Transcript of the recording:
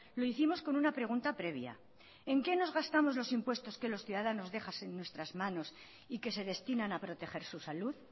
lo hicimos con una pregunta previa en qué nos gastamos los impuestos que los ciudadanos dejan en nuestras manos y que se destinan a proteger su salud